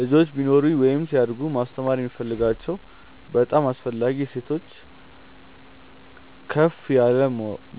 ልጆች ቢኖሩኝ ወይም ሲያድጉ ማስተማር የምፈልጋቸው በጣም አስፈላጊ እሴቶች ከፍ ያለ